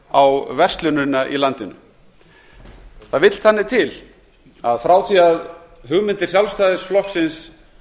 á verslunina í landinu það vill þannig til að frá því að hugmyndir sjálfstæðisflokksins